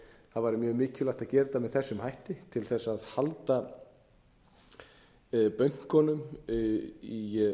væri mjög mikilvægt að gera þetta með þessum hætti til þess að halda bönkunum í